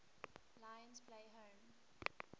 lions play home